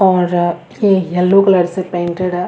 और ये yellow colour से पेंटेड हैं।